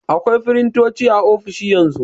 Akwai firintoci a ofisoshi yanzu.